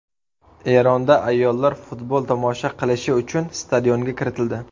Eronda ayollar futbol tomosha qilishi uchun stadionga kiritildi.